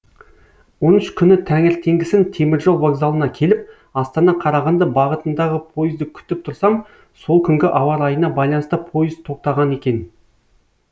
он үш күні таңертеңгісін теміржол вокзалына келіп астана қарағанды бағытындағы пойызды күтіп тұрсам сол күнгі ауа райына байланысты пойыз тоқтаған екен